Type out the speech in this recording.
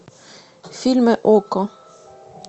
фильмы окко